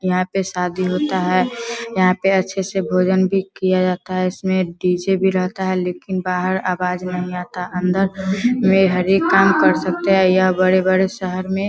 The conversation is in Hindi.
यहां पे शादी होता है यहां पे अच्छे से भोजन भी किया जाता है इसमें डी.जे. भी रहता है लेकिन बाहर आवाज नहीं आता अंदर में हरेक काम कर सकते है यह बड़े-बड़े शहर में --